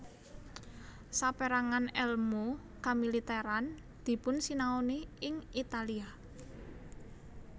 Sapérangan èlmu kamilitèran dipunsinaoni ing Italia